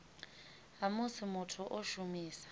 ha musi muthu o shumisa